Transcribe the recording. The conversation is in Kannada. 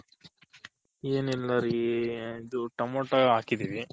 ಏನಿಲ್ಲ ರೀ ಇದು ಟಮೊಟೊ ಹಾಕಿದಿವಿ